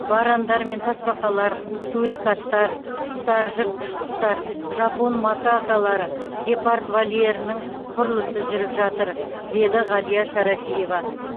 варандар мен тасбақалар сурикаттар құстар жыртқыш құстар жапон макакалары гепард вольерінің құрылысы жүріп жатыр деді ғалия шарафиева